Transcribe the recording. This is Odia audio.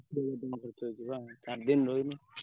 ବୋହୁତ ଦିନ ରହିଲି ବା ଚାରିଦିନ ରହିଲି।